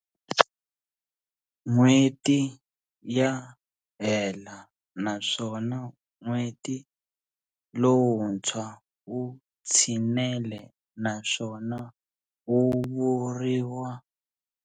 N'wheti ya hela naswona n'weti lowutswa wu tshinele naswona wuvuriwa.